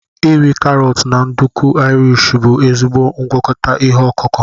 iri karọt na nduku Irish bụ ezigbo ngwakọta ihe ọkụkụ.